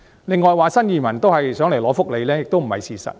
另外，有人說新移民都是想來港領取福利，這也不是事實。